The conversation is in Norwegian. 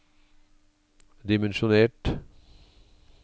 dimensjonert